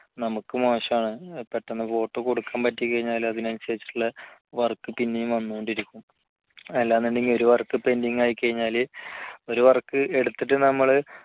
നമുക്കും മോശമാണ് പെട്ടെന്ന് photo കൊടുക്കാൻ കഴിഞ്ഞാൽ അതിനനുസരിച്ചിട്ടുള്ള work പിന്നെയും വന്നുകൊണ്ടിരിക്കും അല്ലാന്നുണ്ടെങ്കിൽ ഒരു work pending ആയി കഴിഞ്ഞാല് ഒരു work എടുത്തിട്ട് നമ്മള്